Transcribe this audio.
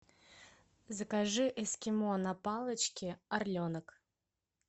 закажи эскимо на палочке орленок